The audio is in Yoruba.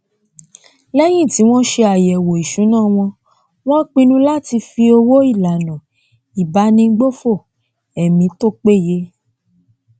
lẹyìn tí wọn ṣe àyẹwò isúná wọn wọn pinnu láti fi owó ìlànà ìbánigbófò ẹmí tó péye